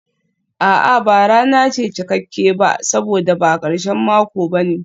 A'a, ba rana ce cikakke ba saboda ba karshen mako ba ne.